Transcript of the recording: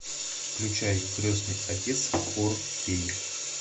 включай крестный отец фор кей